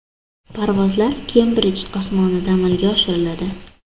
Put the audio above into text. Parvozlar Kembridj osmonida amalga oshiriladi.